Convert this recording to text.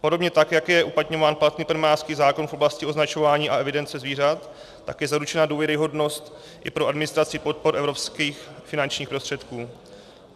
Podobně tak jak je uplatňován platný plemenářský zákon v oblasti označování a evidence zvířat, tak je zaručena důvěryhodnost i pro administraci podpor evropských finančních prostředků.